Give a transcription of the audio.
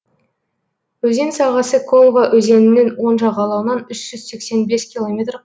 өзен сағасы колва өзенінің оң жағалауынан үш жүз сексен бес километр